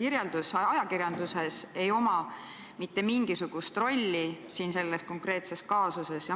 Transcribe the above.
kirjeldusel ei ole mitte mingisugust rolli selles konkreetses kaasuses.